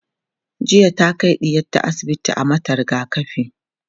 jiya ta Kai ɗiyarta asibiti a mata rigakafi